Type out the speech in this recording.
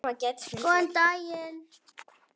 Þær eru varðveittar á